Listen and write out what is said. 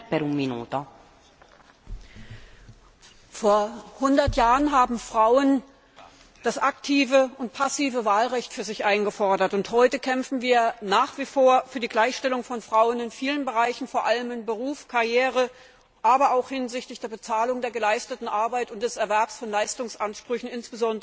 Frau Präsidentin! Vor hundert Jahren haben Frauen das aktive und passive Wahlrecht für sich eingefordert und heute kämpfen wir nach wie vor für die Gleichstellung von Frauen in vielen Bereichen, vor allem im Beruf und bei der Karriere, aber auch hinsichtlich der Bezahlung der geleisteten Arbeit und des Erwerbs von Leistungsansprüchen, insbesondere für das Alter.